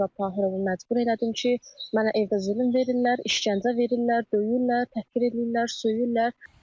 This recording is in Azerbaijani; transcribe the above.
Mən özüm Turab Tahirovu məcbur elədim ki, mənə evdə zülm verirlər, işgəncə verirlər, döyürlər, təhqir eləyirlər, söyürlər.